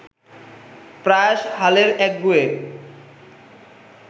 প্রায়শ হালের একগুঁয়ে